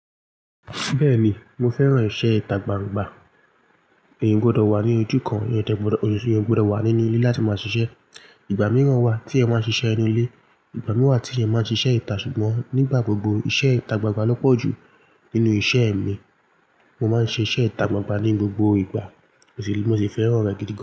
Bẹ́ẹ̀ ni, mo fẹ́ràn iṣẹ́ ìta gbangba, eeyan o gbọdọ̀ wà ní ojú kan, eeyan dẹ gbọdọ̀, eeyan o gbọdọ̀ wà nínú ilé láti máa ṣiṣẹ́. Ìgbà mìíràn wà tí eeyan máa ń ṣiṣẹ́ inu ilé, ìgbà mìí wà tí eeyan máa ń ṣiṣẹ́ ìta ṣùgbọ́n nígbà gbogbo iṣẹ́ ìta gbangba lo pọju nínú iṣẹ́ mi. Mo máa ń ṣe iṣẹ́ ìta gbangba ní gbogbo ìgbà, mo sì fẹ́ràn rẹ̀ gidi gan.